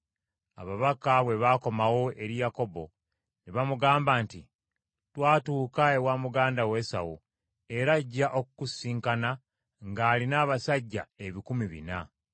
Ababaka bwe baakomawo eri Yakobo ne bamugamba nti, “Twatuuka ewa muganda wo Esawu era ajja okukusisinkana ng’alina abasajja ebikumi bina.”